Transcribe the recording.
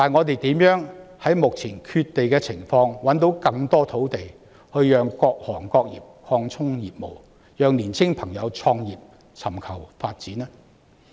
然而，在目前缺地的情況下，我們怎樣能夠找到更多土地讓各行各業擴充業務、讓年青朋友創業和尋求發展呢？